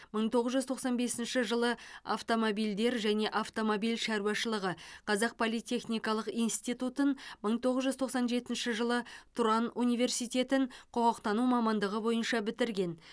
мың тоғыз жүз тоқсан бесінші жылы автомобильдер және автомобиль шаруашылығы қазақ политехникалық институтутын мың тоғыз жүз тоқсан жетінші жылы тұран университетін құқықтану мамандығы бойынша бітірген